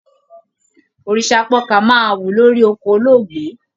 Òrìṣápọkà máa wù lórí oko olóògbé.